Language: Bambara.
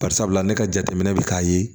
Bari sabula ne ka jateminɛ bɛ k'a ye